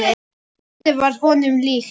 Hvíldin varð honum líkn.